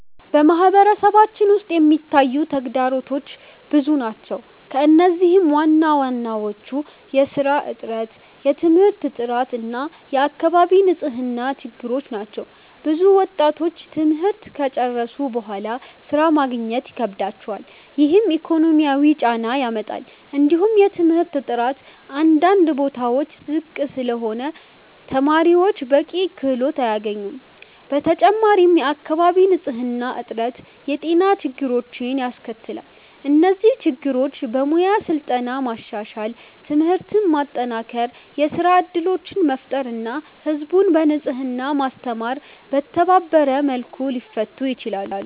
በማህበረሰባችን ውስጥ የሚታዩ ተግዳሮቶች ብዙ ናቸው፣ ከእነዚህም ዋናዎቹ የሥራ እጥረት፣ የትምህርት ጥራት እና የአካባቢ ንጽህና ችግሮች ናቸው። ብዙ ወጣቶች ትምህርት ከጨረሱ በኋላ ሥራ ማግኘት ይከብዳቸዋል፣ ይህም ኢኮኖሚያዊ ጫና ያመጣል። እንዲሁም የትምህርት ጥራት አንዳንድ ቦታዎች ዝቅ ስለሆነ ተማሪዎች በቂ ክህሎት አያገኙም። በተጨማሪም የአካባቢ ንጽህና እጥረት የጤና ችግሮችን ያስከትላል። እነዚህ ችግሮች በሙያ ስልጠና ማሻሻል፣ ትምህርትን ማጠናከር፣ የሥራ እድሎችን መፍጠር እና ህዝብን በንጽህና ማስተማር በተባበረ መልኩ ሊፈቱ ይችላሉ።